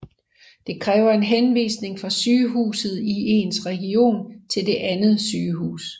Det kræver en henvisning fra sygehuset i ens region til det andet sygehus